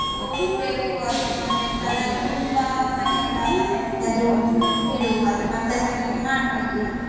ಓದ್ಬೇಕು ಅದ್ ಮಾಡ್ಬೇಕಲ್ಲ ತುಂಬಾ ಮನೆಯಿಂದ ಎಲ್ಲಾ ಹೇಳ್ತಾ ಇದ್ರು ನೀನು ಇದು ಬಿಡು ನೀನು ಮತ್ತೆ ಸಹ ಮಾಡ್ಬಹುದು ಅಂತ.